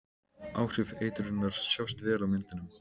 Áhrif eitrunarinnar sjást vel á myndunum.